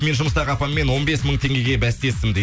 мен жұмыстағы апаммен он бес мың теңгеге бәстестім дейді